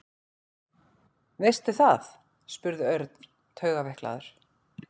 Veistu það? spurði Örn taugaveiklaður.